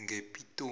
ngepitori